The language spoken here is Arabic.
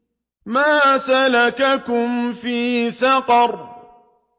مَا سَلَكَكُمْ فِي سَقَرَ